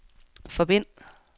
forbind